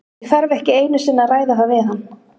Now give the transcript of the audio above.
Ég þarf ekki einu sinni að ræða það við hann.